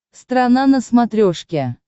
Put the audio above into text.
страна на смотрешке